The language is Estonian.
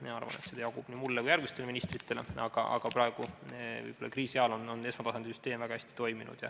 Ma arvan, et seda jagub nii mulle kui ka järgmistele ministritele, aga praeguse kriisi ajal on esmatasandi süsteem väga hästi toiminud.